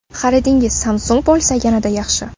Xaridingiz Samsung bo‘lsa yanada yaxshi.